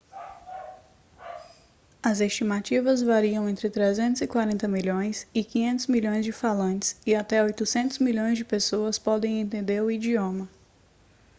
as estimativas variam entre 340 milhões e 500 milhões de falantes e até 800 milhões de pessoas podem entender o idioma